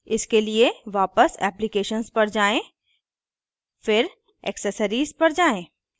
इसके लिए वापस applications पर जाएँ फिर accessories पर जाएँ